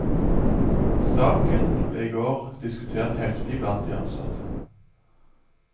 Saken ble i går diskutert heftig blant de ansatte.